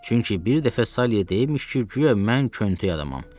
Çünki bir dəfə Salye deyibmiş ki, guya mən köntöy adamam.